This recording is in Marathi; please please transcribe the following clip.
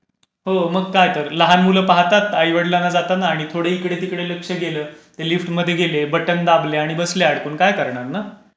हो मग काय तर. लहान मुलं पाहतात आई वडिलांना जाताना, आणि थोडं लक्ष इकडे तिकडे गेलं, की लिफ्ट मध्ये गेले, बटण दाबलं, आणि बसले अडकून. काय करणार ना.